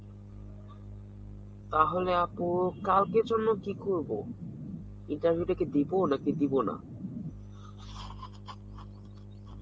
তাহলে আপু কালকের জন্যে কি করবো? interview টা কি দিবো না দিবো না?